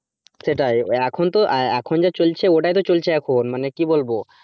সেটাই এখন তো এখন যা চলছে ওটাই তো চলছে এখন,